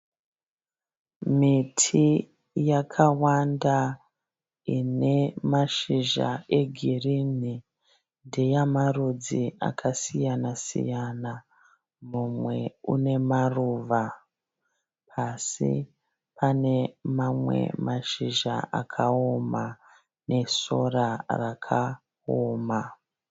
Miti yakawanda ine mashizha egirini ndeya marudzi akasiyana siyana mumwe une maruva pasi pane mamwe mashizha akaoma nesora rakaoma.